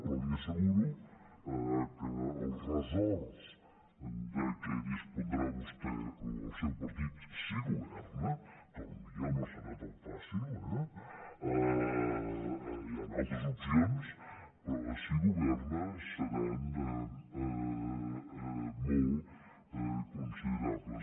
però li asseguro que els ressorts de què disposarà vostè o el seu partit si governa que potser no serà tan fàcil eh hi han altres opcions però si governa seran molt considerables